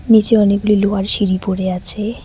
নীচে অনেকগুলি লোহার সিঁড়ি পড়ে আছে।